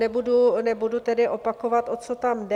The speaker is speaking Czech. Nebudu tedy opakovat, o co tam jde.